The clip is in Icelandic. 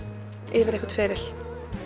yfir einhvern feril